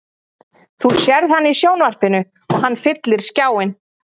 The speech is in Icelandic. Þú sérð hann í sjónvarpinu og hann fyllir skjáinn.